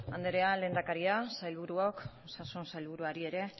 andrea lehendakaria sailburuok osasun sailburuari ere